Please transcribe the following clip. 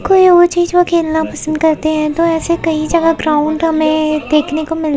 कोई और चीज वो खेलना पसंद करते हैं तो ऐसे कई जगह ग्राउंड हमें देखने को मिल --